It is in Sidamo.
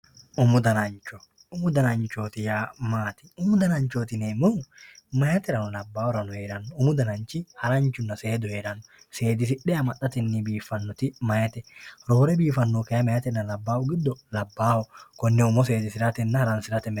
umu danancho umu dananchooti yaa maati umu dananchooti yineemmohu meyaaterano labbaahurano heeranno umu dananchi haranchunna seedu heeranno seedisse amaxxatenni biiffanno meyaate roore biifannohu kayiinni meyaatenna labbahu giddo labbaaho konne umo seedisiratenna haransirate mereero.